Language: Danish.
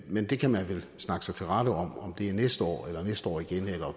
men det kan man vel snakke sig til rette om om det er næste år eller næste år igen eller